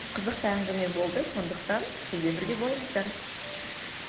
қызықты әңгіме болды сондықтан бізбен бірге болыңыздар